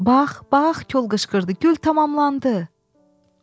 Bax, bax, kol qışqırdı, gül tamamlandı!